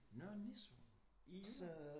Nørre Nissum i Jylland